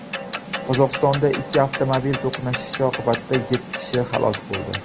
Qozog‘istonda ikki avtomobil to‘qnashishi oqibatida yetti kishi halok bo‘ldi.